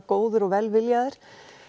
góðir og velviljaðir